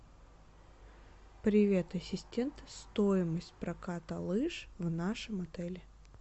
привет ассистент стоимость проката лыж в нашем отеле